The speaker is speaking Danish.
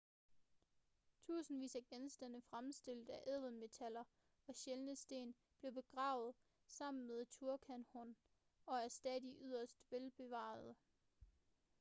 tusindvis af genstande fremstillet af ædelmetaller og sjældne sten blev begravet sammen med tutankhamon og er stadig yderst velbevarede